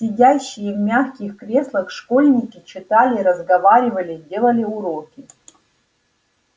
сидящие в мягких креслах школьники читали разговаривали делали уроки